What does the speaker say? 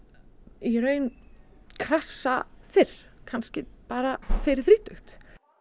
í raun krassa fyrr kannski bara fyrir þrítugt